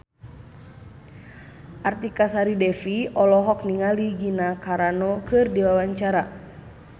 Artika Sari Devi olohok ningali Gina Carano keur diwawancara